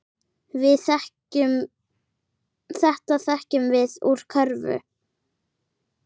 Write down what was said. Þetta þekkjum við úr Kröflu.